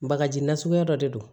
Bagaji nasuguya dɔ de don